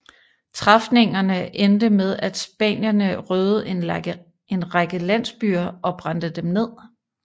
Træfningene endte med at spanierne røvede en række landsbyer og brændte dem ned